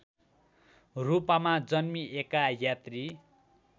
रूपमा जन्मिएका यात्री